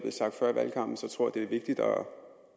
gør